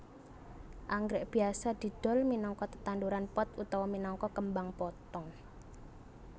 Anggrèk biasa didol minangka tetanduran pot utawa minangka kembang potong